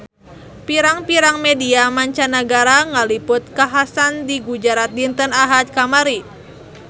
Pirang-pirang media mancanagara ngaliput kakhasan di Gujarat dinten Ahad kamari